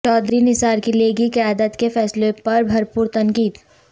چوہدری نثار کی لیگی قیادت کے فیصلوں پر بھرپور تنقید